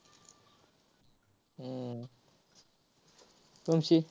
हम्म तुमची?